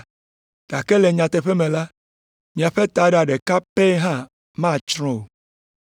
Gake le nyateƒe me la, miaƒe taɖa ɖeka pɛ hã matsrɔ̃ o.